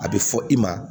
A bɛ fɔ i ma